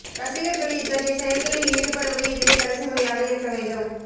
ரசிகர்கள் இத்தகைய செயல்களில் ஈடுபடுவது இதுவே கடைசி முறையாக இருக்க வேண்டும்